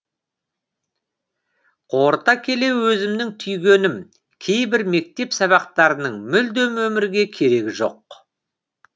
қорыта келе өзімнің түйгенім кейбір мектеп сабақтарының мүлдем өмірге керегі жоқ